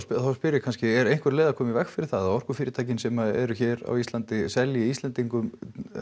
spyr ég kannski er einhver leið að koma í veg fyrir það að orkufyrirtækin sem eru hér á Íslandi selji Íslendingum